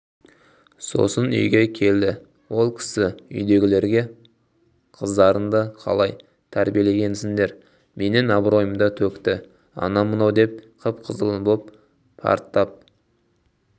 сосын үйге келдіол кісі үйдегілерге қыздарыңды қалай трбиелегенсіңдер менің абыройымды төкті анау-мынау деп қып-қызыл боп парттап